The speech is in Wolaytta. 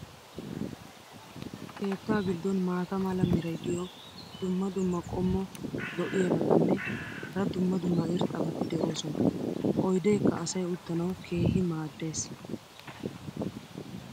keettaa giddon maata mala meray diyo dumma dumma qommo lo'iyaabatinne hara dumma dumma irxxabati de'oosona. oydeekka asay uttanawu keehi maadees.